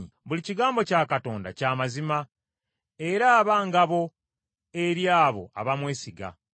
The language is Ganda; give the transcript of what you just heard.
Buli kigambo kya Katonda kya mazima, era aba ngabo eri abo abamwesiga.